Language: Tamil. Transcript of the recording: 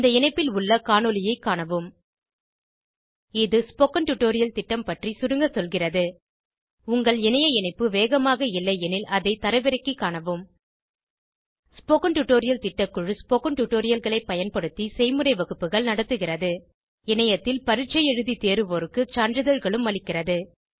இந்த இணைப்பில் உள்ள காணொளியைக் காணவும் இது ஸ்போகன் டுடோரியல் திட்டம் பற்றி சுருங்க சொல்கிறது உங்கள் இணைய இணைப்பு வேகமாக இல்லையெனில் அதை தரவிறக்கிக் காணவும் ஸ்போகன் டுடோரியல் திட்டக்குழு ஸ்போகன் டுடோரியல்களைப் பயன்படுத்தி செய்முறை வகுப்புகள் நடத்துகிறது இணையத்தில் பரீட்சை எழுதி தேர்வோருக்கு சான்றிதழ்களும் அளிக்கிறது